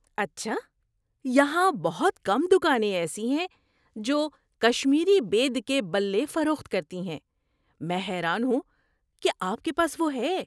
اچھا! یہاں بہت کم دکانیں ایسی ہیں جو کشمیری بید کے بلے فروخت کرتی ہیں۔ میں حیران ہوں کہ آپ کے پاس وہ ہے۔